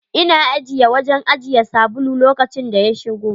Ina ajiye wajen ajiye sabulu lokacin da ya shigo.